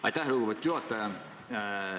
Aitäh, lugupeetud juhataja!